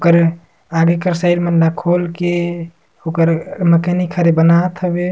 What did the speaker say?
करे आगे एकर साइज़ मन ल खोल के ओकर हर बनात हवे।